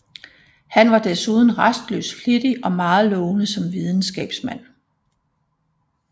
Han var desuden rastløs flittig og meget lovende som videnskabsmand